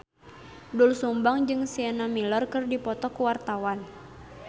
Doel Sumbang jeung Sienna Miller keur dipoto ku wartawan